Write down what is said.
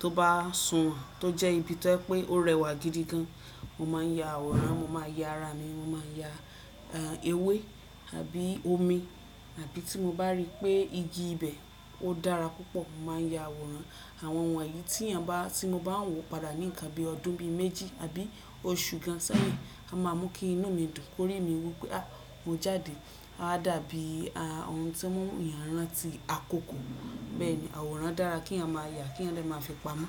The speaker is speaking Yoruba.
tó bá sùn wọn tó jẹ́ ibi tó ẹ́ pé órẹwà gidi gan, mo máa ń ya àwòrán, mo máa ya ara mi, mo máa ya ewé àbí omi àbí tí mo bá rí pé igi ibẹ̀ ó dára púpọ̀, mo máa ya àwòrán. Àwọn wọn yìí tiyan ba tí mo bá ń wò padà ní nkan bí ọdún bí méjì àbí oṣù gan sẹ́yìn, a máa mú kí inú mi dùn, kórí mi wí pé à mo jáde, a dàbí ohun to mu eeyan rantí akoko Bẹ́ẹ̀ni àwòrán dára kí yan máa yà, kí yan dẹ máa fi pamọ.